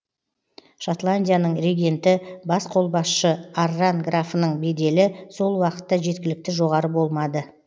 шотландияның регенті бас қолбасшы арран графының беделі сол уақытта жеткілікті жоғары болмады